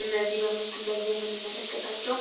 እነዚህ በምስሉ ላይ የምንመለከታቸው